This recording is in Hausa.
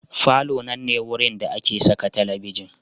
Falo nan ne wurin da ake saka talabijin.